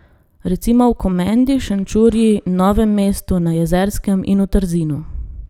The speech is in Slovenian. Recimo v Komendi, Šenčurju, Novem mestu, na Jezerskem in v Trzinu.